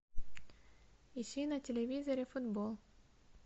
ищи на телевизоре футбол